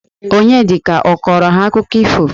Onyedika ọ kọrọ ha akụkọ ifo?